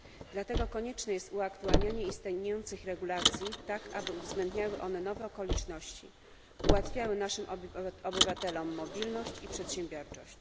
Dlatego konieczne jest uaktualnianie istniejących regulacji, tak aby uwzględniały one nowe okoliczności, ułatwiały naszym obywatelom mobilność i przedsiębiorczość.